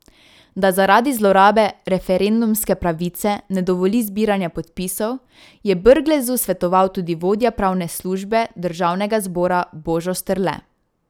Da zaradi zlorabe referendumske pravice ne dovoli zbiranja podpisov, je Brglezu svetoval tudi vodja pravne službe državnega zbora Božo Strle.